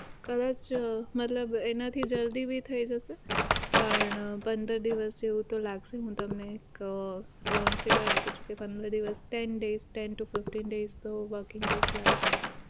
મતલબ એનાથી જલ્દી ભી થઇ જશે પણ પંદર દિવસ જેવું તો લાગશે હું તમને એક round figure આપું છું કે પંદર દિવસ ten days ten to fifteen days તો working days લાગશે જ